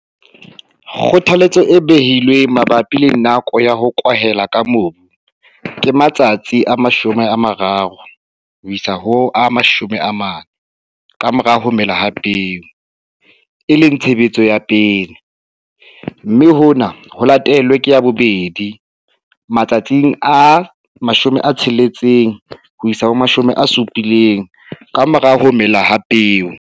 Kgothaletso e behilweng mabapi le nako ya N ya ho kwahela ka mobu matsatsi a 30 40 ka mora ho mela ha peo, e leng tshebetso ya pele, mme hona ho latelwe ke ya bobedi matsatsi a 60 70 ka mora ho mela ha peo.